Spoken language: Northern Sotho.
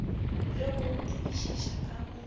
le go gopodišiša ka go